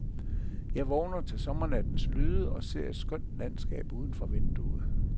Jeg vågner til sommernattens lyde og ser et skønt landskab uden for vinduet.